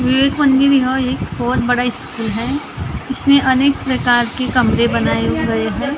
एक बहुत बड़ा स्कुल है इसमें अनेक प्राकार के कमरे बनाये गए हैं ।